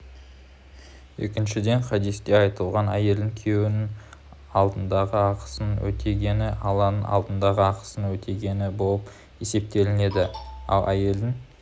екіншіден хадисте айтылғандай әйелдің күйеуі алдындағы ақысын өтегені алланың алдындағы ақысын өтегені болып есептеледі ал әйелдің